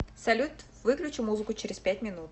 салют выключи музыку через пять минут